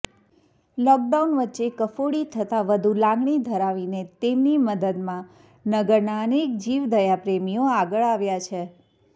lockdown વચ્ચે કફોડી થતાં વધુ લાગણી ધરાવીને તેમની મદદમાં નગરના અનેક જીવદયાપ્રેમીઓ આગળ આવ્યા છે